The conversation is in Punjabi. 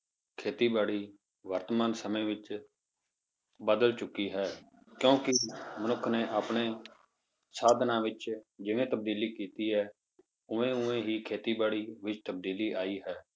ਖੇਤੀਬਾੜੀ ਵਰਤਮਾਨ ਸਮੇਂ ਵਿੱਚ ਬਦਲ ਚੁੱਕੀ ਹੈ ਕਿਉਂਕਿ ਮਨੁੱਖ ਨੇ ਆਪਣੇ ਸਾਧਨਾਂ ਵਿੱਚ ਜਿਵੇਂ ਤਬਦੀਲੀ ਕੀਤੀ ਹੈ, ਉਵੇਂ ਉਵੇਂ ਹੀ ਖੇਤੀਬਾੜੀ ਵਿੱਚ ਤਬਦੀਲੀ ਆਈ ਹੈ।